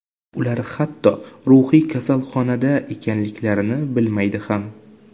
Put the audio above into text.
Ular hatto ruhiy kasalxonada ekanliklarini bilmaydi ham.